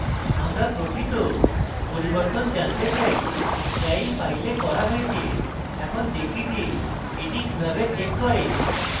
আমরা প্রকৃত পরিবর্তন জানতে চাই যা we files করা হয়েছে এখন দেখি যে এটি কিভাবে check করে